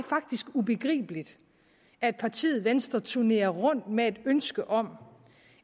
ubegribeligt at partiet venstre turnerer rundt med et ønske om